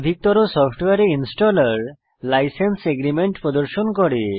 অধিকতর সফটওয়্যারে installer licence agreement প্রদর্শন করে